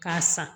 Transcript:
K'a san